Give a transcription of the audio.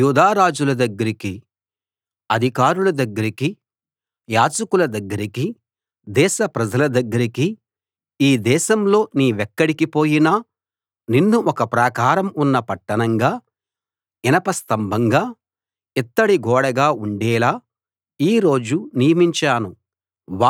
యూదా రాజుల దగ్గరికి అధికారుల దగ్గరికి యాజకుల దగ్గరికి దేశ ప్రజల దగ్గరికి ఈ దేశంలో నీవెక్కడికి పోయినా నిన్ను ఒక ప్రాకారం ఉన్న పట్టణంగా ఇనప స్తంభంగా ఇత్తడి గోడగా ఉండేలా ఈ రోజు నియమించాను